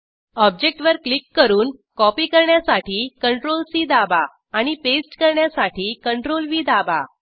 ऑब्जेक्टवर click करून copy करण्यासाठी CTRLC दाबा आणि पेस्ट करण्यासाठी CTRLV दाबा